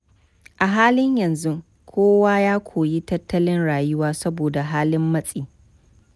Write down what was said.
A halin yanzu kowa ya koyi tattalin rayuwa saboda halin matsi.